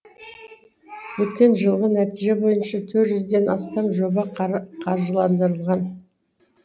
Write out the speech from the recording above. өткен жылғы нәтиже бойынша төрт жүзден ден астам жоба қаржыландырылған